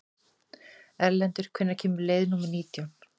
Erlendur, hvenær kemur leið númer nítján?